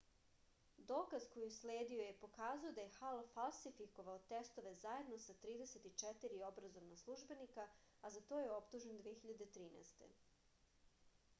dokaz koji je usledio je pokazao da je hal falsifikovao testove zajedno sa 34 obrazovna službenika a za to je optužen 2013